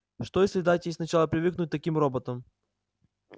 что если дать ей сначала привыкнуть к таким роботам